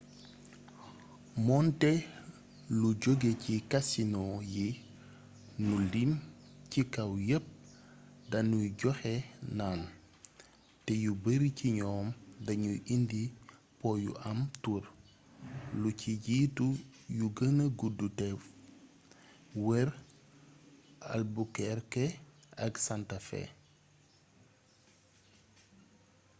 moonte lu joge ci kasinoo yi nu lim ci kaw yepp danuy joxe naan te yu bare ci ñoom dañuy indi po yu am tur lu ci jiitu yu gëna gudd te wër albuquerque ak santa fe